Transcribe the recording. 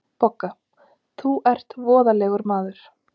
BOGGA: Þú ert voðalegur maður.